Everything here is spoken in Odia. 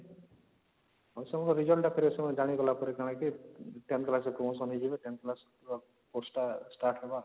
ଆଉ ସେମାନଙ୍କ result ଟା ଫେରେ ସେମାନେ ଜାଣିଗଲା ପରେ କଣ କି 10th class କୁ promotion ହେଇଯିବେ 10th class ର course ଟା start ହବା